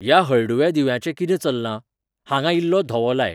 ह्या हळडुव्या दिव्याचें कितें चल्लां? हांगा इल्लो धवो लाय